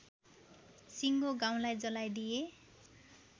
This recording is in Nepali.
सिङ्गो गाउँलाई जलाइदिए